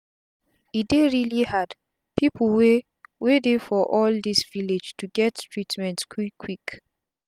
e dey reali hard pipu wey wey dey for all dis villages to get treatment quick quick